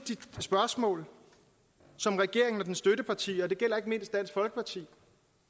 spørgsmål som regeringen og dens støttepartier det gælder ikke mindst dansk folkeparti